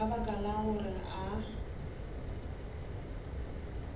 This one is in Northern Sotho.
ka baka la gore a